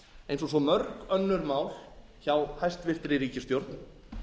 eins og svo mörg önnur mál hjá hæstvirtri ríkisstjórn